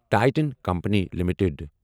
Titan company limited